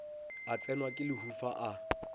a tsenwa ke lehufa a